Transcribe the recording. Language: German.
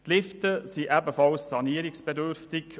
Die Lifte sind ebenfalls sanierungsbedürftig.